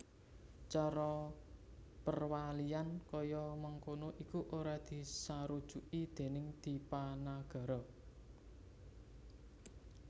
Cara perwalian kaya mangkono iku ora disarujuki déning Dipanagara